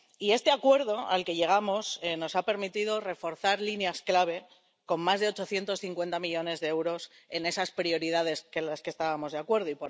Y este acuerdo al que llegamos nos ha permitido reforzar líneas clave con más de 850 millones de euros en esas prioridades en las que estábamos de acuerdo.